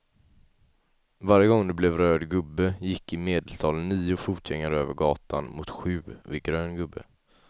Varje gång det blev röd gubbe gick i medeltal nio fotgängare över gatan, mot sju vid grön gubbe.